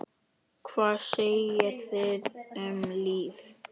Hvað segið þið um lyf?